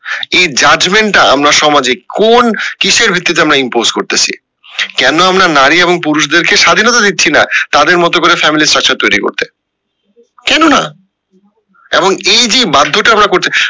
এই judgement টা আমরা সমাজে কোন কিসের ভিত্তিতে আমরা impose করতেসি কেন আমরা নারী এবং পুরুষ দের কে স্বাধীনতা দিচ্ছি না তাদের মতো করে family structure তৈরি করতে কেন না? এবং এই যে বাধ্যটা আমরা করতে